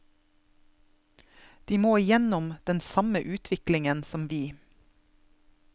De må igjennom den samme utviklingen som vi.